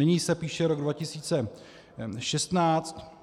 Nyní se píše rok 2016